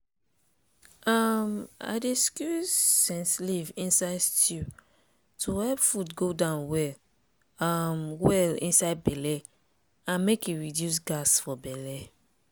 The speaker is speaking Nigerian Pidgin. um i dey squeeze scent leave inside stew to help food go down well um well inside belle and make e reduce gas for belle.